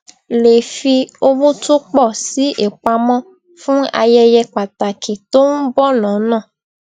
lè fi owó tó pò sí ìpamó fún ayẹyẹ pàtàkì tó n bọ lọnà